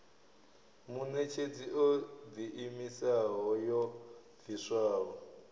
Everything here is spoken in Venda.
muṋetshedzi o ḓiimisaho yo bviswaho